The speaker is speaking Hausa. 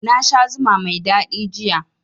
Na sha zuma mai daɗi jiya